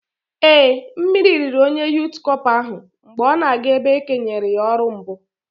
Ee, mmiri riri onye Yụt Cọpa ahụ mgbe ọ na-aga ebe e kenyere ya ọrụ mbụ